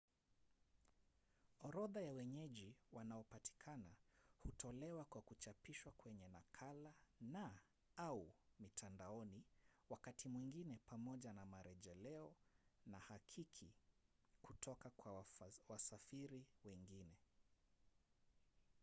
orodha ya wenyeji wanaopatikana hutolewa kwa kuchapishwa kwenye nakala na/au mitandaoni wakati mwingine pamoja na marejeleo na hakiki kutoka kwa wasafiri wengine